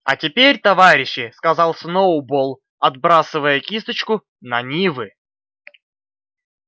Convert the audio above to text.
а теперь товарищи сказал сноуболл отбрасывая кисточку на нивы